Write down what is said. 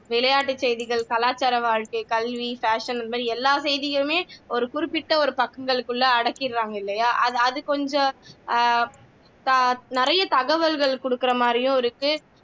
விளையாட்டு செய்திகள் கலாச்சார வாழ்க்கை கல்வி fashion இந்த மாதிரி எல்லா செய்திகளுமே ஒரு குறிப்பிட்ட பக்கங்களுக்குள்ள அடக்கிடுறாங்க இல்லையா அது அது கொஞ்சம் அஹ் நிறைய தகவல்கள் குடுக்குற மாதிரியும் இருக்கு